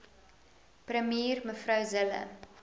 premier mev zille